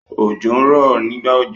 Òjò ń rọ nígbà òjò.